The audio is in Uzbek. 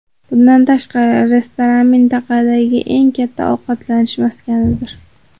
Bundan tashqari, restoran mintaqadagi eng katta ovqatlanish maskanidir.